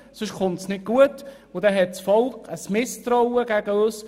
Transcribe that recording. Sonst kommt es nicht gut heraus, und das Volk hegt ein Misstrauen uns gegenüber.